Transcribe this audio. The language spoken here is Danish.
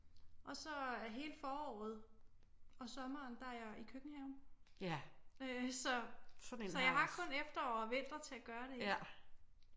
Og så er hele foråret og sommeren der er jeg i køkkenhaven øh så jeg har kun efterår og vinter til at gøre det i